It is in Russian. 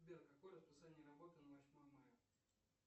сбер какое расписание работы на восьмое мая